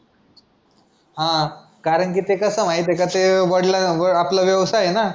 हा कारण की ते कसं आहे माहिती आहे का ते आपला वा व्यवसाय आहे ना